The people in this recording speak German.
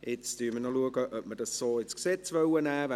Nun schauen wir, ob wir das so ins Gesetz übernehmen wollen.